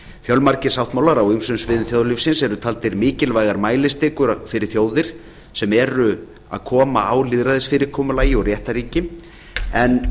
fjölmargir sáttmálar á ýmsum sviðum þjóðlífsins eru taldir mikilvægar mælistikur fyrir þjóðir sem eru að koma á lýðræðisfyrirkomulagi og réttarríki en